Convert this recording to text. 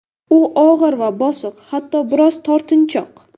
U og‘ir va bosiq, hatto biroz tortinchoq.